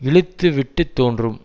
இழுத்து விட்டு தோன்றும்